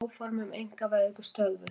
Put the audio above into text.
Áform um einkavæðingu stöðvuð